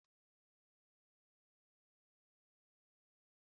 Áwu m njakịrị ébé ị nọ mgbor!